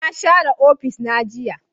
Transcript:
Na share ofis na jiya